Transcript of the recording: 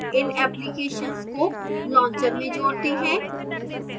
इन applications को launcher में जोड़ते हैं